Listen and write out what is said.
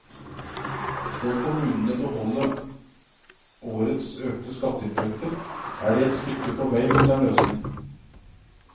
Får kommunene beholde årets økte skatteinntekter er de et stykke på vei mot en løsning.